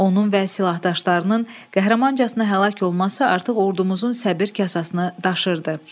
Onun və silahdaşlarının qəhrəmancasına həlak olması artıq ordumuzun səbir kasasını daşırdı.